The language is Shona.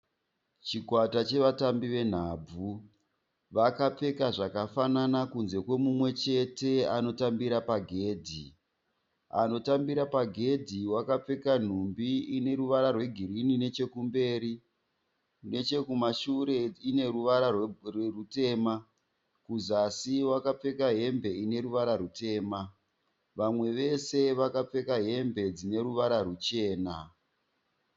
Chikwata chevatambi venhabvu vakapfeka zvakafanana kunze kwemumwechete anotambira pagedhi, anotambira pagedhi wakapfeka nhumbi ineruvara rwegirini nechekumberi nechekumashure ineruvara rutema kuzasi wakapfeka hembe ineruvara rutema. Vamwe vose vakapfeka hembe dzineruvara ruchena.